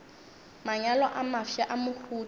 manyalo a mafsa a mohuta